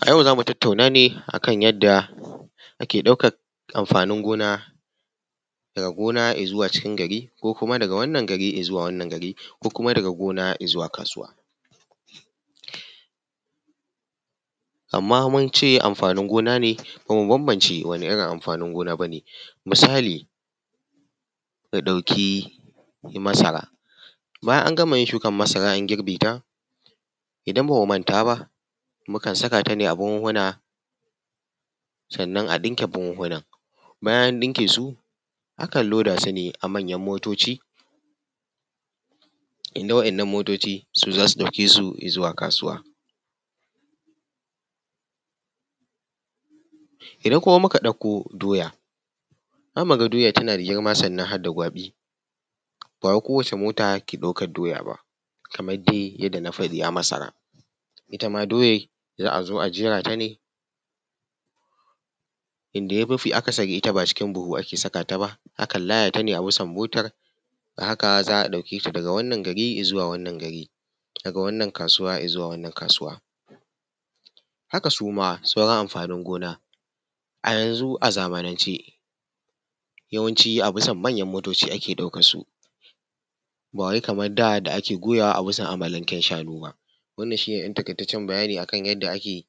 A yau zamu tatauna ne a kan yanda ake ɗaukan amfanin gona daga gona izuwa cikin gari, ko kuma daga wanan gari izuwa wani gari, ko kuma daga gona izuwa kasuwa. Amma mun ce amfanin gona ne ba mu bambance wani irin amfanin gona bane. Misali mu ɗauki masara bayana an gama shukan masara, an girbe ta, idan bamu manta ba muka sakata ne a buhuhuna sannan a ɗinke buhuhuna bayan an ɗinke su akan loda su ne a manyan motoci. Inda wa'inan motoci su za su ɗauke su izuwa kasuwa. Idan kuma muka ɗauko doya, za mu ga doya tana da girma sannan harda gwaɓi. Ba kowacce mota take ɗaukan doya ba. Kamar dai yanda na faɗi a masara, ita ma doyan za a zo a jera ta ne. Inda mafi akasari ita ba cikin buhu ake sakata ba, akan layatane a bisa motan, hakan za a ɗauke ta daga wannan gari izuwa wannan gari, daga wannan kasuwa izuwa wannan kasuwa. Haka suma sauran amfanin gona. A yanzu, a zamanan ce, yawanci a bisa manyan motoci ake ɗaukan su ba wai kamar da da ake goyawa a bisa amalanken shanu ba. Wannan shi ne ɗan taƙaitacen bayani akan yanda ake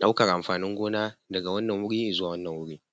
ɗaukan amfanin gona daga wannan wuri zuwa wannan wuri.